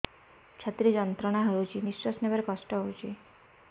ଛାତି ରେ ଯନ୍ତ୍ରଣା ହଉଛି ନିଶ୍ୱାସ ନେବାରେ କଷ୍ଟ ହଉଛି